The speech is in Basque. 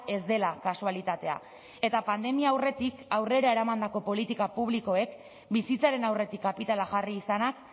ez dela kasualitatea eta pandemia aurretik aurrera eramandako politika publikoek bizitzaren aurretik kapitala jarri izanak